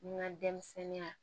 N ka denmisɛnninya